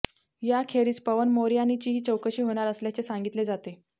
याखेरीज पवन मोरयानीचीही चौकशी होणार असल्याचे सांगितले जाते